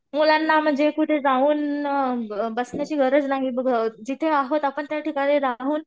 मुलांना म्हणजे कुठं जाऊन बसण्याची गरज नाही. जिथे आहोत आपण त्याठिकाणी राहून